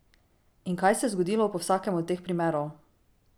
In kaj se je zgodilo po vsakem od teh primerov?